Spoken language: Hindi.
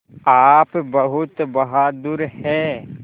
आप बहुत बहादुर हैं